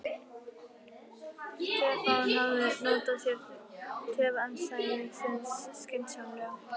Stefán hafði notað sér töf andstæðings síns skynsamlega.